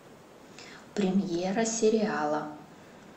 премьера сериала